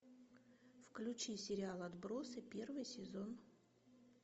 включи сериал отбросы первый сезон